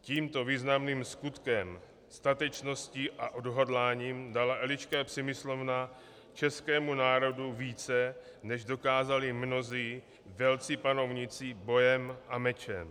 Tímto významným skutkem, statečností a odhodláním dala Eliška Přemyslovna českému národu více, než dokázali mnozí velcí panovníci bojem a mečem.